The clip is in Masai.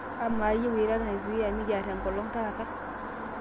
amaa iyieu eilata naizuia mikiar enkolong' taata